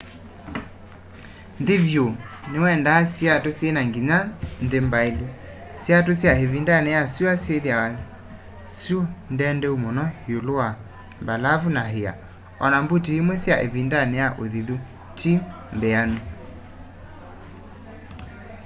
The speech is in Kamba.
nthĩ vyũ nĩwendaa siatũ syĩna nginya-nthĩ mbaĩlu siatũ sya ĩvindanĩ ya syũa syĩthĩawa syũ ndendeu mũno ĩũlũ wa mbalavu na ĩa o na mbuti imwe sya ĩvindanĩ ya ũthithu ti mbĩanu